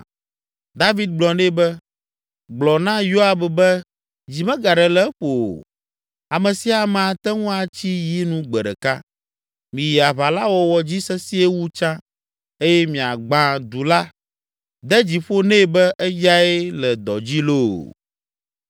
David gblɔ nɛ be, “Gblɔ na Yoab be dzi megaɖe le eƒo o; ame sia ame ate ŋu atsi yi nu gbe ɖeka. Miyi aʋa la wɔwɔ dzi sesĩe wu tsã eye miagbã du la. De dzi ƒo nɛ be eyae le dɔ dzi loo!”